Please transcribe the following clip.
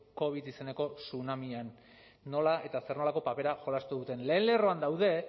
covid izeneko tsunamian nola eta zer nolakoa papera jolastu duten lehen lerroan daude